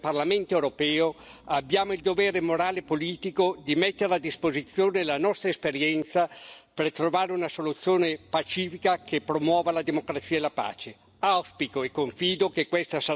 Come Unione europea e come Parlamento europeo, abbiamo il dovere morale e politico di mettere a disposizione la nostra esperienza per trovare una soluzione pacifica che promuova la democrazia e la pace.